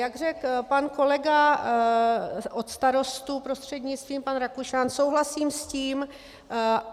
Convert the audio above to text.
Jak řekl pan kolega od Starostů, prostřednictvím, pan Rakušan, souhlasím s tím.